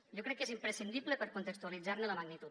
jo crec que és imprescindible per contextualitzar ne la magnitud